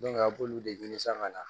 a b'olu de ɲini san ka na